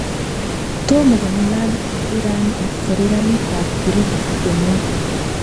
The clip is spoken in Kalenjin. Tomo kong'alal. Iran ak Serkalit ap Greek, kimwaa.